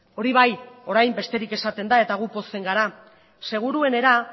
hori bai orain besterik esaten da eta gu pozten gara seguruenera